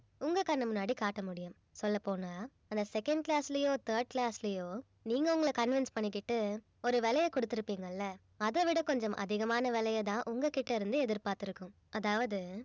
உங்க கண்ணு முன்னாடி காட்ட முடியும் சொல்லப்போனா அந்த second class லயோ third class லயோ நீங்க உங்கள convince பண்ணிக்கிட்டு ஒரு விலையை குடுத்திருப்பீங்க இல்ல அதைவிட கொஞ்சம் அதிகமான விலையை தான் உங்ககிட்ட இருந்து எதிர்பார்த்து இருக்கும் அதாவது